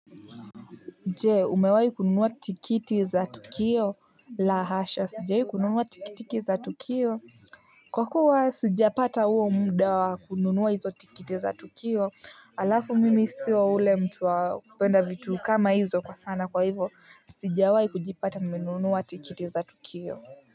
Je, umewahi kununua tikiti za tutukio? La hasha sijawahi kununua tikitiki za tukio. Kwa kuwa sijapata huo muda wa kununua hizo tikiti za tukio. Halafu mimi sio yule mtu wa kupenda vitu kama hizo kwa sana, kwa hivo, sijawahi kujipata nimenunua tikiti za tukio.